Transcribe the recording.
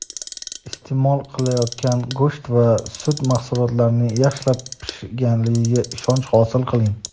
iste’mol qilinayotgan go‘sht va sut mahsulotlarining yaxshilab pishganligiga ishonch hosil qiling!.